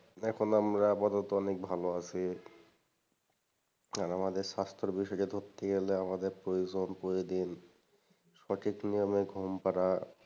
এখন আমরা আপাতত অনেক ভালো আছি, আর আমদের স্বাস্থ্য বিষয়টা ধরতে গেলে আমাদের প্রয়োজন প্রতিদিন সঠিক নিয়মে ঘুম করা,